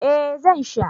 eh Zan sha